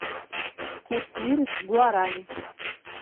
курс лиры к гуарани